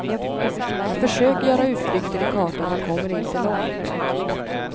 Jag försöker göra utflykter i kartan men kommer inte långt.